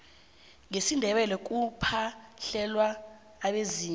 ngesindebele kuphahlelwa abezimu